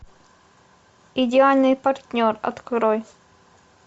идеальный партнер открой